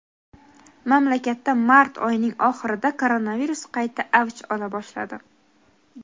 Mamlakatda mart oyining oxirida koronavirus qayta avj ola boshladi.